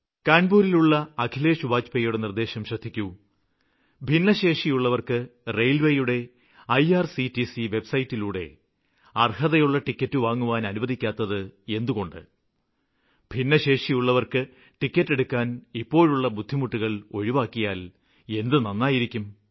കാണ്പൂരിലുള്ള അഖിലേഷ് വാജ്പേയിയുടെ നിര്ദ്ദേശം ശ്രദ്ധിക്കൂ ഭിന്നശേഷിയുള്ളവര്ക്ക് റെയില്വേയുടെ ഐആർസിടിസി വെബ്സൈറ്റിലൂടെ അര്ഹതയുള്ള ടിക്കറ്റ് വാങ്ങുവാന് അനുവദിക്കാതിരുന്നത് എന്തുകൊണ്ട് ഭിന്നശേഷിയുള്ളവര്ക്ക് ടിക്കറ്റെടുക്കാന് ഇപ്പോഴുള്ള ബുദ്ധിമുട്ടുകള് ഒഴിവാക്കിയാല് എത്ര നന്നായിരിക്കും